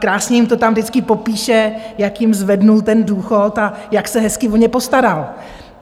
Krásně jim to tam vždycky popíše, jak jim zvedl ten důchod a jak se hezky o ně postaral.